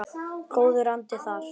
Góður andi þar.